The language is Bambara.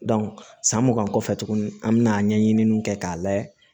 san mugan kɔfɛ tuguni an bi na ɲɛɲiniw kɛ k'a layɛ